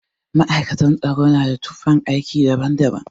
Ma'aikatan tsaro na da tufan aiki daban daban